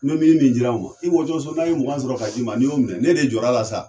Ne min min dir'an ma, i wɔtɔ sɔ, n'a ye mugan sɔrɔ ka d'i ma n'i y'o minɛ ne de jɔ la sa.